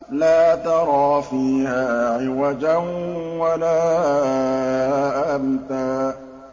لَّا تَرَىٰ فِيهَا عِوَجًا وَلَا أَمْتًا